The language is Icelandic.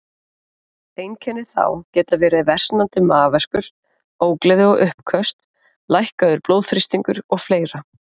Einkenni þá geta verið versnandi magaverkur, ógleði og uppköst, lækkaður blóðþrýstingur og fleira.